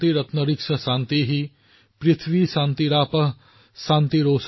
वनस्पतय शान्तिर्विश्र्वे देवा शान्तिर्ब्रह्म शान्ति